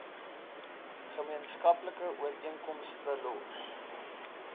gemeenskaplike ooreenkomste los